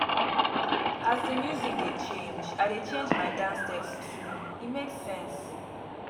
as di music dey change i dey change my dance steps too e make sense.